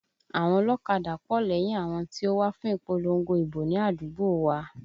Àwọn ọlọ́kadà pọ̀ lẹ́yìn àwọn tí ó wá fún ìpolongo ìbò ní àdúgbò wa